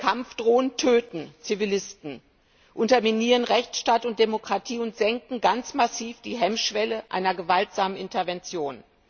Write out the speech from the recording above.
Kampfdrohnen töten Zivilisten, unterminieren Rechtsstaat und Demokratie und senken ganz massiv die Hemmschwelle einer gewaltsamen Intervention.